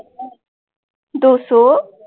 ਦੋ ਸੌ